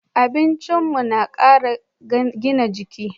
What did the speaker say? Abincin mu na kara gina jiki